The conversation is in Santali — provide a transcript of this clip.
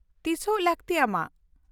-ᱛᱤᱥᱚᱜ ᱞᱟᱹᱠᱛᱤ ᱟᱢᱟᱜ?